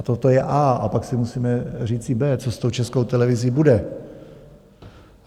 A toto je A, a pak si musíme říci B, co s tou Českou televizí bude.